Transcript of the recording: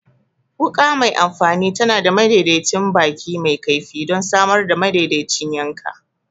Wuka mai amfani tana da madaidaicin baki mai kaifi don samar da madaidaicin yanka.